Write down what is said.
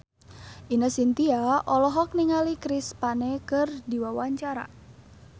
Ine Shintya olohok ningali Chris Pane keur diwawancara